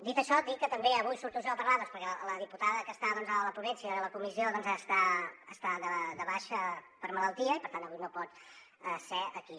dit això dir que també avui surto jo a parlar doncs perquè la diputada que està a la ponència de la comissió està de baixa per malaltia i per tant avui no pot ser aquí